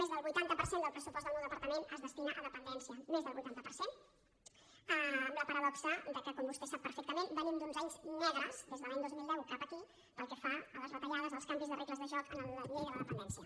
més del vuitanta per cent del pressupost del meu depar·tament es destina a dependència més del vuitanta per cent amb la paradoxa que com vostè sap perfectament ve·nim d’uns anys negres des de l’any dos mil deu cap aquí pel que fa a les retallades als canvis de regles de joc en la llei de la dependència